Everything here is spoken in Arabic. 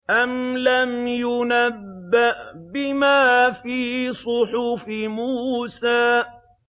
أَمْ لَمْ يُنَبَّأْ بِمَا فِي صُحُفِ مُوسَىٰ